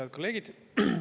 Head kolleegid!